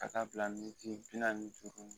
Ka t'a bila militi bi naani ni duuru